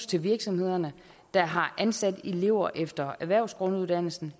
til virksomhederne der har ansat elever efter erhvervsgrunduddannelsen